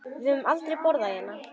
Við höfum aldrei borðað hérna.